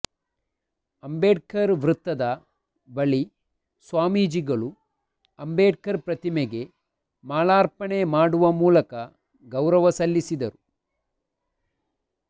ಅಂಬೇಡ್ಕರ್ ವೃತ್ತದ ಬಳಿ ಸ್ವಾಮೀಜಿಗಳು ಅಂಬೇಡ್ಕರ್ ಪ್ರತಿಮೆಗೆ ಮಾಲಾರ್ಪಣೆ ಮಾಡುವ ಮೂಲಕ ಗೌರವ ಸಲ್ಲಿಸಿದರು